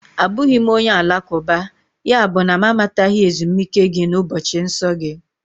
Abụghị m onye Alakụba, yabụ na m amataghị ezumike gị na ụbọchị nsọ gị